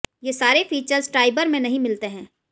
ये सारे features Triber में नहीं मिलते हैं